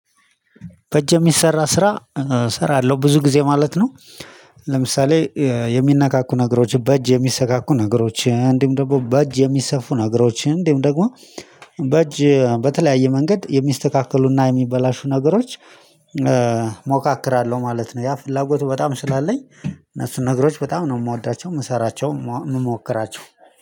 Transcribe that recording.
በእጅ የሚሰራ ስራ እሰራለሁ ብዙ ጊዜ ማለት ነው። ለምሳሌ የሚነካኩ ነገሮች በእጅ የሚሰካኩ ነገሮች እንዲሁ ደግሞ በእጅ የሚሰፉ ነገሮች እንዲሁ ደግሞ በእጅ በተለያየ መንገድ የሚስተካከሉና የሚበላሹ ነገሮች። ሞካክራለሁ ማለት ነው ያ ፍላጎቱ በጣም ስላለኝ እነሱን ነገሮች በጣም ነው የምወዳቸው የምሰራቸው የምሞክራቸው